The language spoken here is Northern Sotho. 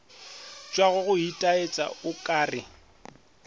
tšwago go itaetša o kare